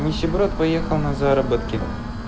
нищеброд поехал на заработки